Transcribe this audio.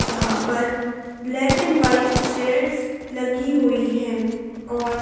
जहां पर black and white chairs लगी हुई हैं और--